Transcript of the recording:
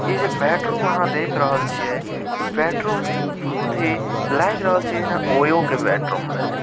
ई bedroom जे आहां देख रहल छी इ बेडरूम लाग रहल छै जेना ओयो के बेडरूम छै|